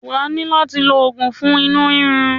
Wà á ní láti lo oògun fún inú rírun ẹ.